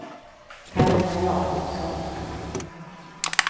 Carina Jakobsson